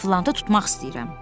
Eflantı tutmaq istəyirəm.